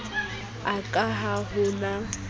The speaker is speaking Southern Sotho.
a ka ha ho na